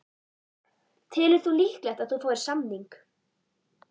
Telur þú líklegt að þú fáir samning?